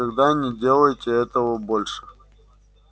никогда не делайте этого больше